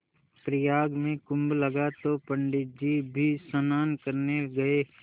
प्रयाग में कुम्भ लगा तो पंडित जी भी स्नान करने गये